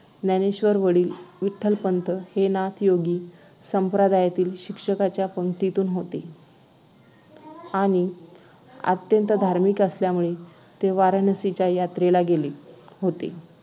ज्ञानेश्वरांचे वडील विठ्ठलपंत हे नाथ योगी संप्रदायातील शिक्षकांच्या पंक्तीत होते आणि अत्यंत धार्मिक असल्यामुळे ते वाराणसीच्या यात्रेला गेले होते